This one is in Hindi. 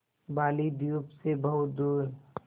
बालीद्वीप सें बहुत दूर